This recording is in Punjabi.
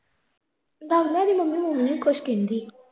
ਸਾਬ ਲਾ ਇਹਦੀ ਮੰਮੀ ਹੁਣ ਵੀ ਨਹੀਂ ਕੁਛ ਕਹਿੰਦੀ